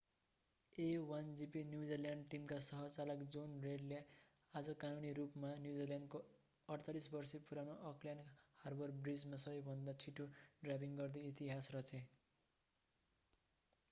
a1gp New Zealand टिमका सह-चालक jonny reid ले आज कानूनी रूपमा न्युजिल्यान्डको 48-वर्षे पुरानो अकल्यान्ड हार्बर ब्रिजमा सबैभन्दा छिटो ड्राइभिङ गर्दै इतिहास रचे